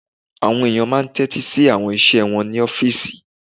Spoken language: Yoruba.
Àwọn èèyàn máa n tẹ́tí sí àwọn iṣẹ́ wọn ní ọ́fìsì